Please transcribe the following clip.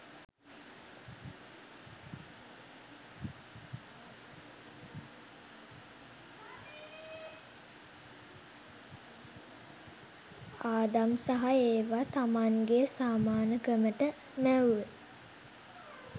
ආදම් සහ ඒව තමන්ගේ සමානකමට මැවුවෙ.